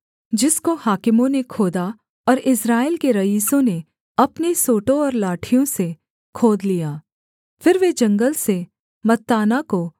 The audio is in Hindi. जिसको हाकिमों ने खोदा और इस्राएल के रईसों ने अपने सोंटों और लाठियों से खोद लिया फिर वे जंगल से मत्ताना को